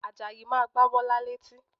Àjàyí máa gba Bọ́lá létí